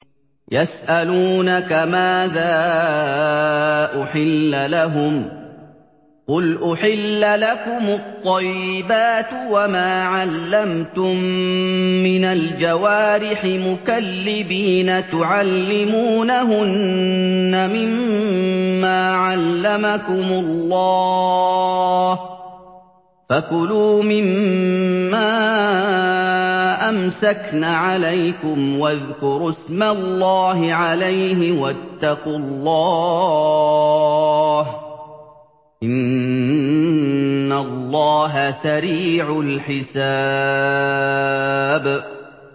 يَسْأَلُونَكَ مَاذَا أُحِلَّ لَهُمْ ۖ قُلْ أُحِلَّ لَكُمُ الطَّيِّبَاتُ ۙ وَمَا عَلَّمْتُم مِّنَ الْجَوَارِحِ مُكَلِّبِينَ تُعَلِّمُونَهُنَّ مِمَّا عَلَّمَكُمُ اللَّهُ ۖ فَكُلُوا مِمَّا أَمْسَكْنَ عَلَيْكُمْ وَاذْكُرُوا اسْمَ اللَّهِ عَلَيْهِ ۖ وَاتَّقُوا اللَّهَ ۚ إِنَّ اللَّهَ سَرِيعُ الْحِسَابِ